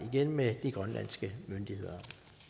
med de grønlandske myndigheder